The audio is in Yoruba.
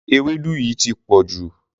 Ewédú yìí ti pọ̀jù.